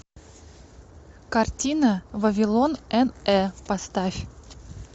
картина вавилон н э поставь